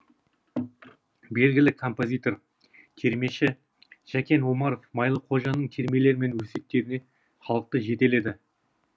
белгілі композитор термеші жәкен омаров майлықожаның термелері мен өсиеттеріне халықты жетеледі